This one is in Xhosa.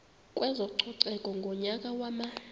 kwezococeko ngonyaka wama